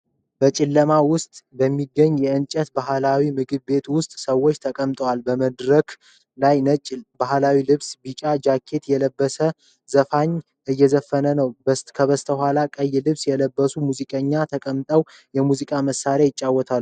በጨለማ ውስጥ በሚገኝ የእንጨት ባህላዊ ምግብ ቤት ውስጥ ሰዎች ተቀምጠዋል። በመድረክ ላይ ነጭ ባህላዊ ልብስና ቢጫ ጃኬት የለበሰ ዘፋኝ እየዘፈነ ነው። ከበስተኋላው ቀይ ልብስ የለበሱ ሙዚቀኞች ተቀምጠው የሙዚቃ መሳሪያዎችን ይጫወታሉ።